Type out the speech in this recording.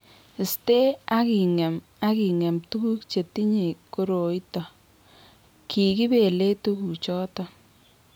Iste ak ing'em ak ing'em tuguuk che tinyei koroito, ki kibeelei tuguuk chotok.